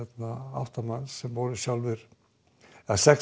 átta manns sem voru sjálfir eða sex